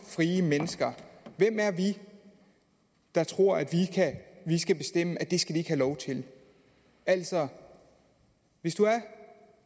frie mennesker hvem er vi der tror at vi skal bestemme at det skal de ikke lov til altså hvis